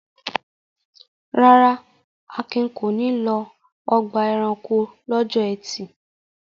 Rárá, Akin kò ní lọ ọgbà-ẹranko lọ́jọ́ ẹtì.